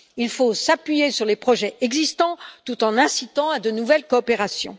Il faut s'appuyer sur les projets existants tout en incitant à de nouvelles coopérations.